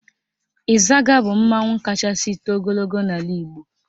Ịzaga bụ mmanwụ kachasị too ogologo n'ala Igbo